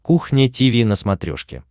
кухня тиви на смотрешке